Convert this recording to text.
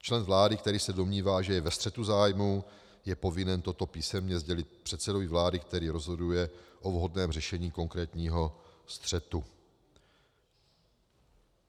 Člen vlády, který se domnívá, že je ve střetu zájmů, je povinen toto písemně sdělit předsedovi vlády, který rozhoduje o vhodném řešení konkrétního střetu.